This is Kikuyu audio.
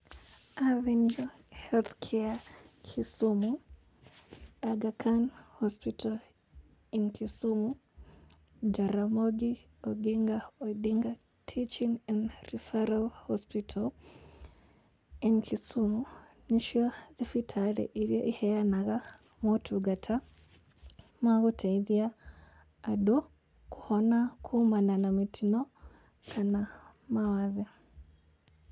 Avenger Health Care, Kisumu, Aga Khan Hospital in Kisumu, Jaramogi Oginga Odinga Teaching and Referral Hospital in Kisumu, nĩ cio thibitarĩ iria iheanaga motungata ma gũteithia andu kũhona kumana na mĩtino kana mawathe.